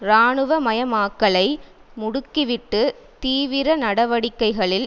இராணுவமயமாக்கலை முடுக்கிவிட்டு தீவிர நடவடிக்கைகளில்